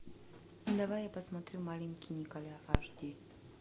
давай я посмотрю маленький николя аш ди